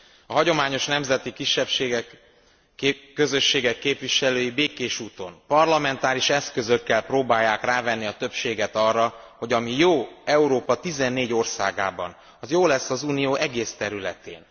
A hagyományos nemzeti kisebbségek, közösségek képviselői békés úton, parlamentáris eszközökkel próbálják rávenni a többséget arra, hogy ami jó Európa 14 országában, az jó lesz az Unió egész területén.